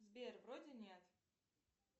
сбер вроде нет